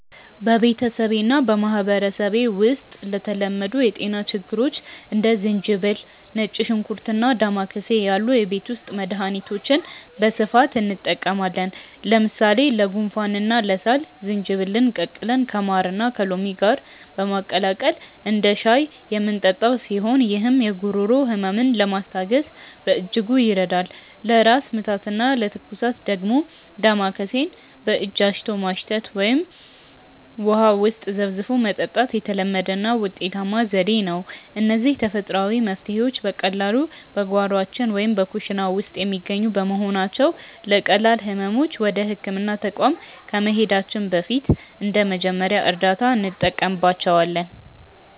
በቤተሰቤና በማኅበረሰቤ ውስጥ ለተለመዱ የጤና ችግሮች እንደ ዝንጅብል፣ ነጭ ሽንኩርትና ዳማከሴ ያሉ የቤት ውስጥ መድኃኒቶችን በስፋት እንጠቀማለን። ለምሳሌ ለጉንፋንና ለሳል ዝንጅብልን ቀቅለን ከማርና ከሎሚ ጋር በማቀላቀል እንደ ሻይ የምንጠጣው ሲሆን፣ ይህም የጉሮሮ ሕመምን ለማስታገስ በእጅጉ ይረዳል። ለራስ ምታትና ለትኩሳት ደግሞ ዳማከሴን በእጅ አሽቶ ማሽተት ወይም ውሃ ውስጥ ዘፍዝፎ መጠጣት የተለመደና ውጤታማ ዘዴ ነው። እነዚህ ተፈጥሯዊ መፍትሔዎች በቀላሉ በጓሯችን ወይም በኩሽና ውስጥ የሚገኙ በመሆናቸው፣ ለቀላል ሕመሞች ወደ ሕክምና ተቋም ከመሄዳችን በፊት እንደ መጀመሪያ እርዳታ እንጠቀምባቸዋለን።